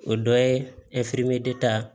O dɔ ye ta